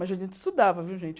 Mas a gente estudava, viu, gente?